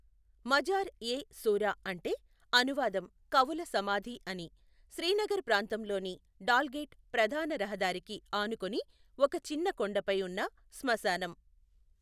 మజార్ ఎ శూరా అంటే అనువాదం కవుల సమాధి అని, శ్రీనగర్ ప్రాంతంలోని డాల్గేట్ ప్రధాన రహదారికి ఆనుకుని ఒక చిన్న కొండపై ఉన్న శ్మశానం.